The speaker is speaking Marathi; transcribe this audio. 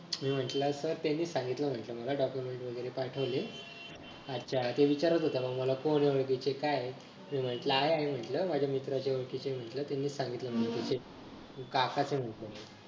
मी म्हंटल sir त्यांनीच सांगितलं म्हंटल मला document वगैरे पाठविले आच्छा ते विचार होता राव कोण आहे ओळखीचे काय मी म्हंटल आहे आहे म्हटलं माझ्या मित्राचे ओळखीचे आहे म्हंटल त्यांनीच सांगितलं काकाच आहे म्हंटल मग